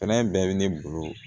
Fɛnɛ bɛɛ bɛ ne bolo